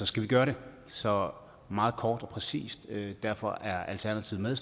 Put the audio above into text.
skal vi gøre det så meget kort og præcist derfor er alternativet